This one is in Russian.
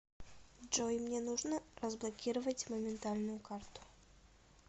джой мне нужно разблокировать моментальную карту